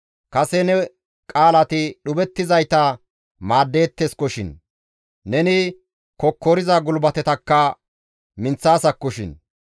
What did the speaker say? Kase ne qaalati dhuphettizayta maaddeetteskoshin; neni kokkoriza gulbatetakka minththaasakkoshin.